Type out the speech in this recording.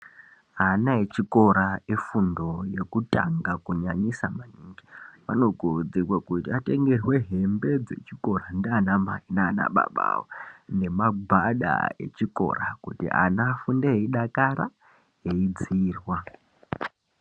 Ana echikora efundo yekutanga anokurudzirwa kuti atengerwe hembe dzechikora nana baba awo nemagwada echikora kuti vana vafunde veidakara veidzirwa.